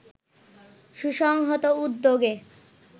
সুসংহত উদ্যোগ